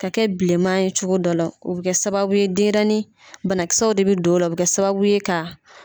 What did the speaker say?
Ka kɛ bilenman ye cogo dɔ la , o bɛ kɛ sababu ye denɲɛrɛni banakisɛw de bɛ don o la , o bɛ kɛ sababu ye ka